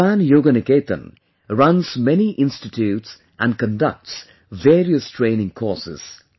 Japan Yoga Niketan runs many institutes and conducts various training courses